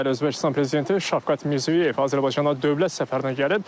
Bəli, Özbəkistan prezidenti Şavqat Mirziyoyev Azərbaycana dövlət səfərinə gəlib.